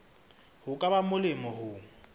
ho ka ba molemo ho